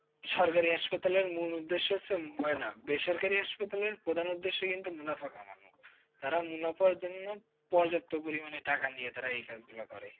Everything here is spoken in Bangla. সরকারি hospital লের মূল উদ্দেশ্য কিছু হয় না। বেসরকারি hospital লের প্রধান উদ্দেশ্যই হচ্ছে মুনাফা কামানো। তারা মুনাফা অর্জনের জন্য পর্যাপ্ত পরিমাণে টাকা নিয়ে এই কাজগুলো করে।